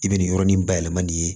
I bɛ nin yɔrɔnin bayɛlɛma nin ye